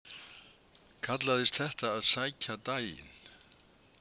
Kallaðist þetta að sækja daginn.